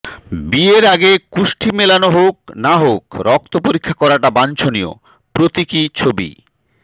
বিয়ের আগে কুষ্টি মেলানো হোক না হোক রক্ত পরীক্ষা করাটা বাঞ্ছনীয় প্রতীকী ছবি